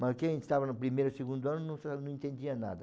Mas quem estava no primeiro, segundo ano não sa não entendia nada.